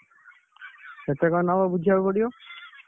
କେତେ କଣ ନବ ବୁଝିଆକୁ ପଡିବ,